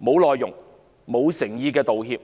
無內容也欠缺誠意的道歉。